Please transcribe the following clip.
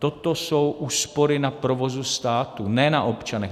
Toto jsou úspory na provozu státu, ne na občanech.